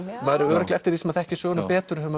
örugglega eftir því sem maður þekkir söguna betur hefur